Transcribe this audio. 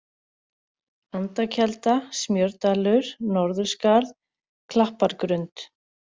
Andakelda, Smjördalur, Norðurskarð, Klappargrund